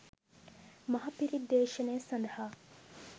මහපිරිත් දේශනය සඳහා